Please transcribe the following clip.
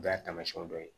O y'a taamasiyɛn dɔ ye